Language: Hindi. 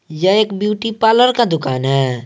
यह एक ब्यूटी पार्लर का दुकान है।